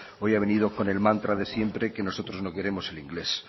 hoy ha venido con el mantra de siempre que nosotros no queremos el inglés